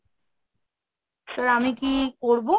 sir আমি কি করবো?